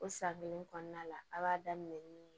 O san kelen kɔnɔna la a b'a daminɛ ni